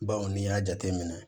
Bawo n'i y'a jateminɛ